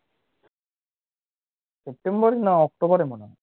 september না october মনে হয়